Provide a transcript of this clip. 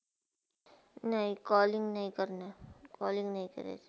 नाही, calling नाही करनार calling नाही करायचं